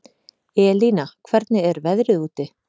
Elína, hvernig er veðrið úti?